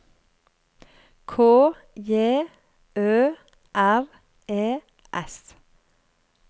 K J Ø R E S